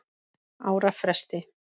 ára fresti.